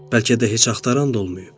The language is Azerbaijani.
Bəlkə də heç axtaran da olmayıb.